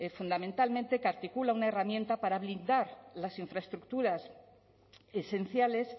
fundamentalmente que articula una herramienta para blindar las infraestructuras esenciales